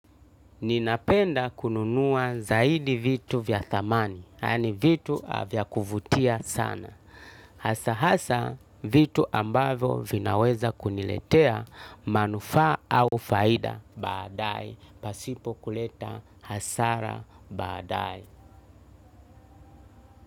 Ninapenda kununua zaidi vitu vya thamani, yani vitu vya kuvutia sana. Hasa hasa vitu ambavyo vinaweza kuniletea manufaa au faida baadaye, pasipo kuleta hasara baadaye.